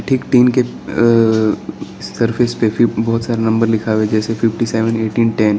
एक टीन के अ सरफेस पे भी बहोत सारा नंबर लिखा है जैसे फिफ्टीसेवन एटीन टेन ।